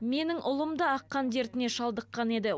менің ұлым да ақ қан дертіне шалдыққан еді